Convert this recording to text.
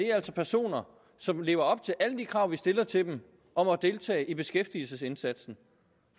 er altså personer som lever op til alle de krav vi stiller til dem om at deltage i beskæftigelsesindsatsen